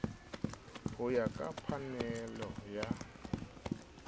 ho ya ka phanele ya